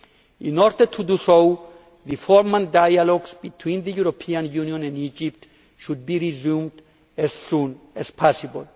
In order to do so the former dialogues between the European Union and Egypt should be resumed as soon as possible.